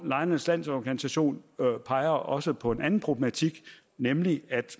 lejernes landsorganisation peger også på en anden problematik nemlig at